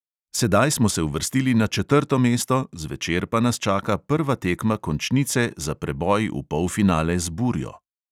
Sedaj smo se uvrstili na četrto mesto, zvečer pa nas čaka prva tekma končnice za preboj v polfinale z burjo.